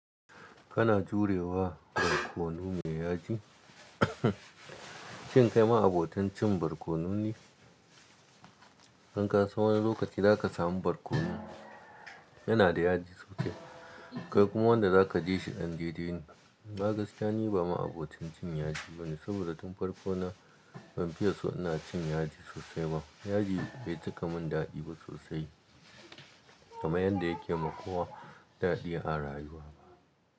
Kana jurewa barkono me yaji? Shin kai ma'abotan cin barkono ne? In ka san wani lokaci za ka samu barkono yana da yaji sosai. Kai kuma wanda za ka ji shi ɗan dai-dai ne, amma ni gaskiya ba ma abotan cin yaji bane saboda tun farko na ban fiye so ina cin yaji sosai ba. Yaji bai cika min daɗi ba sosai, kaman yadda yake ma kowa daɗi a rayuwa.